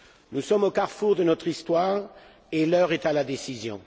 Nous sommes au carrefour de notre histoire et l'heure est à la décision.